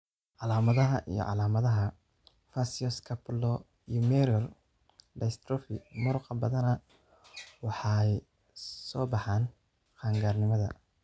Calaamadaha iyo calaamadaha facioscapulohumeral dystrophy muruqa badanaa waxay soo baxaan qaan-gaarnimada.